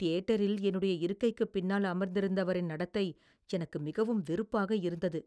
தியேட்டரில் என்னுடைய இருக்கைக்குப் பின்னால் அமர்ந்திருந்தவரின் நடத்தை எனக்கு மிகவும் வெறுப்பாக இருந்தது.